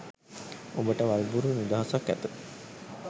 ඔබට වල්බුරු නිදහසක් ඇත